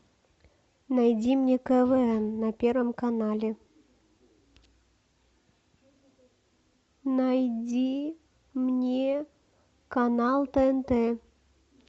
найди мне квн на первом канале найди мне канал тнт